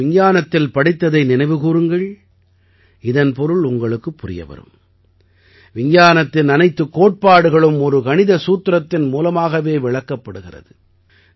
நீங்கள் விஞ்ஞானத்தில் படித்ததை நினைவு கூருங்கள் இதன் பொருள் உங்களுக்குப் புரிய வரும் விஞ்ஞானத்தின் அனைத்துக் கோட்பாடுகளும் ஒரு கணித சூத்திரத்தின் மூலமாகவே விளக்கப்படுகிறது